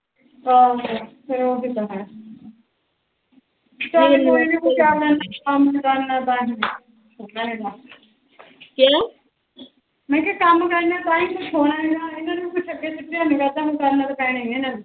ਮੈ ਕਿਹਾ ਕੰਮ ਕਰਨਾ ਤਾਹੀ ਕੁਸ਼ ਹੋਣਾ ਐਗਾ ਕਰਨਾ ਤਾ ਪੈਣਾ ਹੀ ਆ ਇਹਨਾ ਨੂੰ